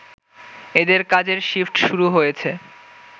এদের কাজের শিফট শুরু হয়েছে